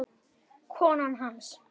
Konan hans?